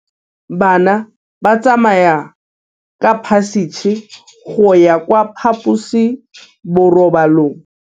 Bana ba tsamaya ka phašitshe go ya kwa phaposiborobalong.